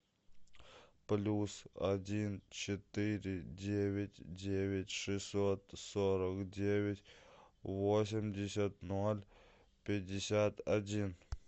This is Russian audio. плюс один четыре девять девять шестьсот сорок девять восемьдесят ноль пятьдесят один